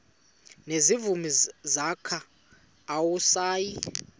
nezimvu zakhe awusayi